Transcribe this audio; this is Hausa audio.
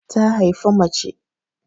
Ta haifi mace